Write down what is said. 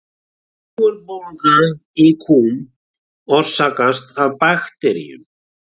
Júgurbólga í kúm orsakast af bakteríum.